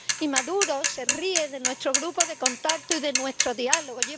Y Maduro se ríe de nuestro grupo de contacto y de nuestro diálogo